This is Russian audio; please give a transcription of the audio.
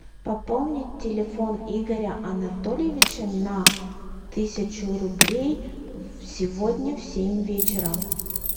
пополнить телефон игоря анатольевича на тысячу рублей сегодня в семь вечера